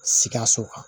Sikaso